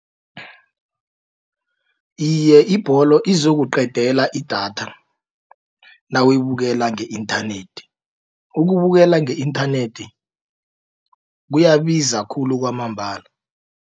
Iye ibholo izokuqedela idatha nawuyibukela nge-inthanethi. Ukubukela nge-inthanethi kuyabiza khulu kwamambala.